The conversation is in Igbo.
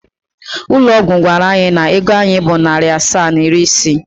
Ụlọ ọgwụ gwara anyị na ego anyị bụ narị asaa na iri isii.